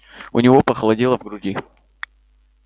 у него похолодело в груди